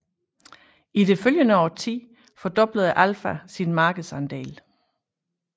I det følgende årti fordoblede Alfa sin markedsandel